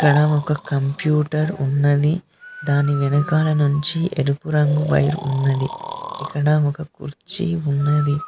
ఇక్కడ ఒక కంప్యూటర్ ఉన్నది దాని వెనకాల నుంచి ఎరుపు రంగు వైర్ ఉన్నది ఇక్కడ ఒక కుర్చీ ఉన్నది.